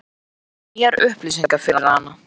Þetta eru nýjar upplýsingar fyrir hana.